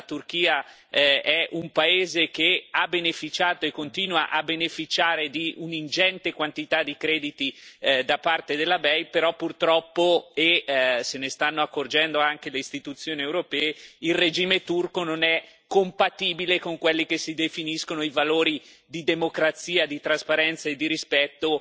La Turchia è un paese che ha beneficiato e continua a beneficiare di un'ingente quantità di crediti da parte della BEI, però purtroppo e se ne stanno accorgendo anche le istituzioni europee il regime turco non è compatibile con quelli che si definiscono i valori di democrazia, di trasparenza e di rispetto